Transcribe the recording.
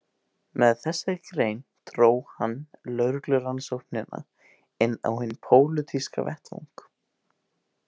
Með þessari grein dró hann lögreglurannsóknina inn á hinn pólitíska vettvang.